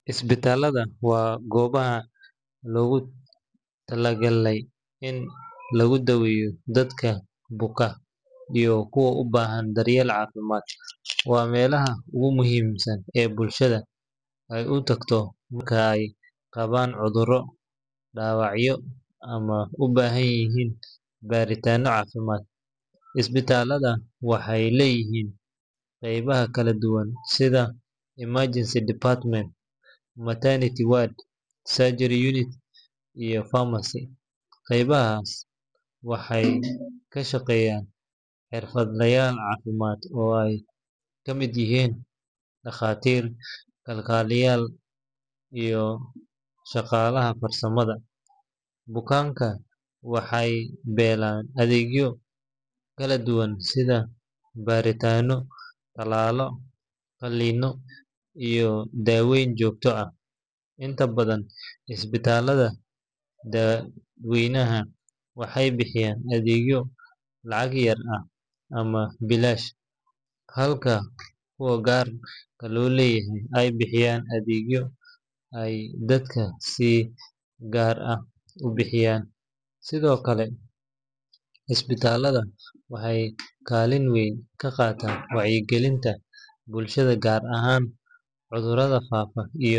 Isbitaalada waa goobaha loogu talagalay in lagu daweeyo dadka buka iyo kuwa u baahan daryeel caafimaad. Waa meelaha ugu muhiimsan ee bulshada ay u tagto marka ay qabaan cudurro, dhaawacyo, ama u baahan yihiin baaritaanno caafimaad. Isbitaalada waxay leeyihiin qaybaha kala duwan sida emergency department, maternity ward, surgery unit, iyo pharmacy. Qaybahaan waxay ka shaqeeyaan xirfadlayaal caafimaad oo ay ka mid yihiin dhakhaatiir, kalkaaliyeyaal, iyo shaqaalaha farsamada. Bukaanku waxay helaan adeegyo kala duwan sida baaritaanno, tallaallo, qalliino iyo daaweyn joogto ah. Inta badan isbitaalada dadweynaha waxay bixiyaan adeegyo lacag yar ah ama bilaash, halka kuwa gaar loo leeyahay ay bixiyaan adeegyo ay dadku si gaar ah u bixiyaan. Sidoo kale, isbitaalada waxay kaalin weyn ka qaataan wacyigelinta bulshada, gaar ahaan cudurrada faafa iyo.